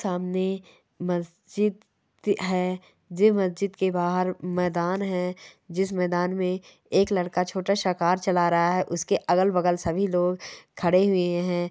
सामने मस्जिद है जे मस्जिद के बाहर मैदान है जिस मैदान में एक लड़का छोटा सा कार चला रहा है उसके अगल बगल सभी लोग खड़े हुए हैं।